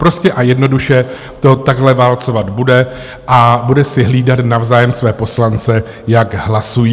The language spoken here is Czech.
Prostě a jednoduše to takhle válcovat bude a bude si hlídat navzájem své poslance, jak hlasují.